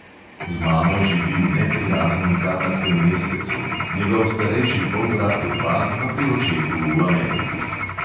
Z mamo živi v neprijaznem kanadskem mestecu, njegov starejši polbrat urban pa pri očetu v ameriki.